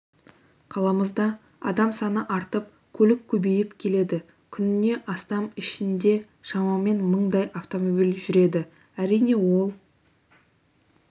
қаламызда адам саны артып көлік көбейіп келеді күніне астана ішінде шамамен мыңдай автомобиль жүреді әрине ол